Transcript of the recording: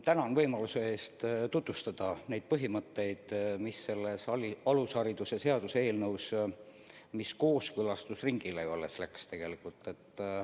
Tänan võimaluse eest tutvustada neid põhimõtteid, mis on selles alushariduse seaduse eelnõus, mis tegelikult alles kooskõlastusringile läks.